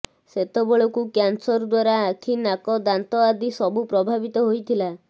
ସେତେବେଳକୁ କ୍ୟାନସର ଦ୍ୱାରା ଆଖି ନାକ ଦାନ୍ତ ଆଦି ସବୁ ପ୍ରଭାବିତ ହୋଇଥିଲା